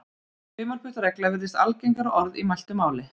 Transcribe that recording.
Þumalputtaregla virðist algengara orð í mæltu máli.